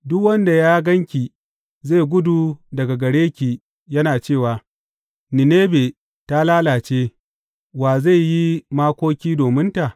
Duk wanda ya gan ki zai gudu daga gare ki yana cewa, Ninebe ta lalace, wa zai yi makoki domin ta?’